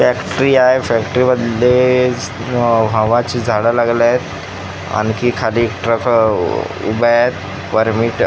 Factory आहे. Factory मध्ये हवाची झाडे लागलेली आहेत. आणखी खाली ट्रक उभे आहेत वर--